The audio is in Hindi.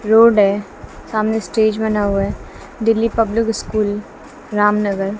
रोड है सामने स्टेज बना हुआ है दिल्ली पब्लिक स्कूल रामनगर --